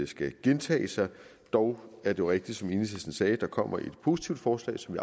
skal gentage sig dog er det jo rigtigt som enhedslisten sagde at der kommer et positivt forslag som